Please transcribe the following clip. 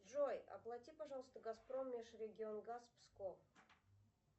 джой оплати пожалуйста газпром межрегионгаз псков